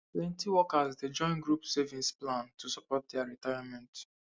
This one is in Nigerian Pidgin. plenty workers dey join group savings plan to support their retirement